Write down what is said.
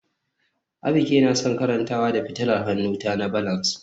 Abike na son karantawa da fitilar hannunta na balance